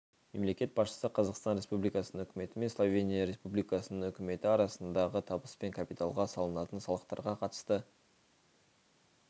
мемлекет басшысы қазақстан республикасының үкіметі мен словения республикасының үкіметі арасындағы табыс пен капиталға салынатын салықтарға қатысты